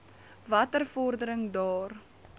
watter vordering daar